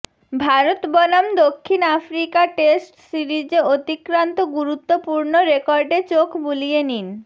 ভারত বনাম দক্ষিণ Africa test সিরিজে অতিক্রান্ত গুরুত্বপূর্ণ রেকর্ডে চোখ বুলিয়ে নিন